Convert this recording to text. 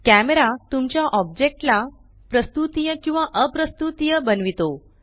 camera तुमच्या ओब्जेक्टला प्रस्तुतीय किंवा अप्रस्तुतीय बनवितो